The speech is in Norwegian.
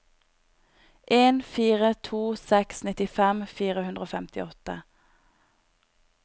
en fire to seks nittifem fire hundre og femtiåtte